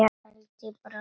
Þá held ég bara áfram.